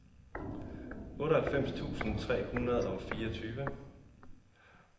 otteoghalvfems tusind tre hundrede og fireogtyve